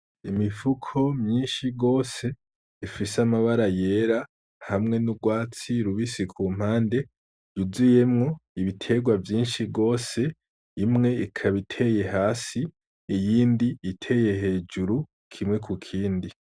Imifuko myinshi gose ifise amabara yera hamwe n'urwatsi rubisi kumpande yuzuyemwo ibiterwa vyinshi gose imwe ikaba iteye hasi iyindi iteye hejuru kimwe ku kindi.